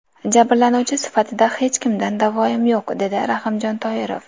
Jabrlanuvchi sifatida hech kimdan davoyim yo‘q”, dedi Rahimjon Toirov.